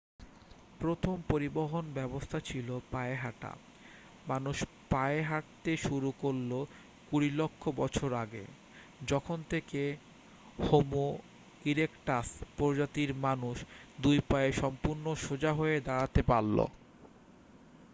প্রথম পরিবহন ব্যবস্থা ছিল পায়ে হাঁটা মানুষ পায়ে হাঁটতে শুরু করল কুড়ি লক্ষ বছর আগে যখন থেকে হোমো ইরেকটাস প্রজাতির মানুষ দুই পায়ে সম্পূর্ণ সোজা হয়ে দাঁড়াতে পারল